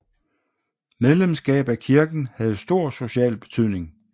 Medlemskab af kirken havde stor social betydning